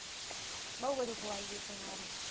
બહુ બધુ ખોવાઈ ગયુ હતું મારું